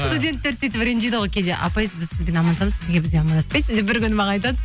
студенттер сөйтіп ренжиді ғой кейде апай біз сізбен амандасамыз сіз неге бізбен амандаспайсыз деп бір күні маған айтады